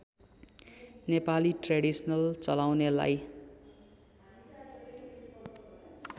Nepali traditional चलाउनेलाई